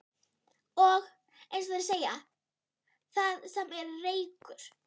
Og, eins og þeir segja: Þar sem er reykur.